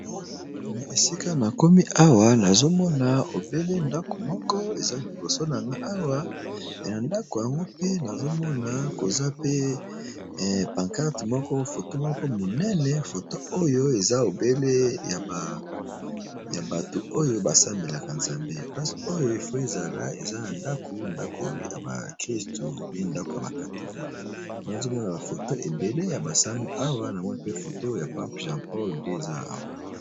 Esika nakomi awa nazomona ndako moko eza liboso nangai Awa pe ndako pe nazomona panquarte ya photo monene eza obele ya bato ba sambelaka NZAMBE ya ba catholiques.